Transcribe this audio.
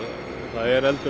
það er eldur